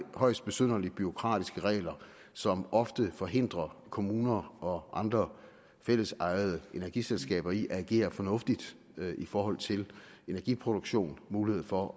højst besynderlige bureaukratiske regler som ofte forhindrer kommuner og andre fællesejede energiselskaber i at agere fornuftigt i forhold til energiproduktion mulighed for